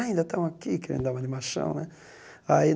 Ah ainda estão aqui, querendo dar uma de machão né. Aí